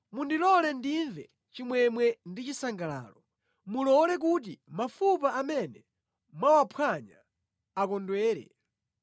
Mundilole ndimve chimwemwe ndi chisangalalo, mulole kuti mafupa amene mwawamphwanya akondwere.